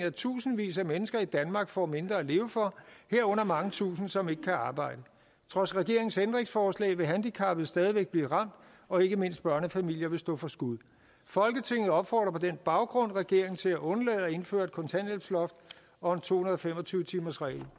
at tusindvis af mennesker i danmark får mindre at leve for herunder mange tusind som ikke kan arbejde trods regeringens ændringsforslag vil handicappede stadig væk blive ramt og ikke mindst børnefamilier vil stå for skud folketinget opfordrer på den baggrund regeringen til at undlade at indføre et kontanthjælpsloft og en to hundrede og fem og tyve timersregel